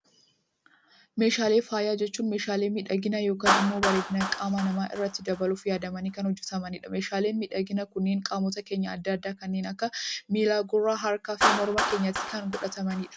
Meeshaalee faayaa jechuun, meeshaalee miidhagina yookaan immoo bareedina qaama namaa irratti dabaluuf yaadamanii kan hojjetamanidha. Meeshaaleen miidhaginaa kunneen qaamota keenya addaa addaa kanneen akka miila, gurra, harkaa fi morma keenyatti kan godhatamanidha.